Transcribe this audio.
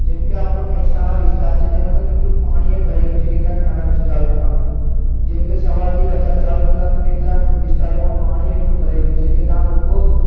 જેમકે આપણો મહેસાણા વિસ્તાર છે તેમાં તો કેટલું પાણી યે ભરાઈ ગયું છે કેટલાક નાના વિસ્તારોમાં જેમકે સવારથી વરસાદ ચાલુ થાય તો કેટલાક વિસ્તારોમાં પાણી એટલું ભરાઈ ગયું છે કે ત્યાં લોકો